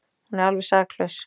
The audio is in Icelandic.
Hún er alveg saklaus.